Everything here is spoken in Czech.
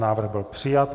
Návrh byl přijat.